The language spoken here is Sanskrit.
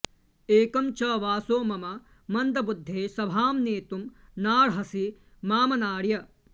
एकं च वासो मम मन्दबुद्धे सभां नेतुं नार्हसि मामनार्य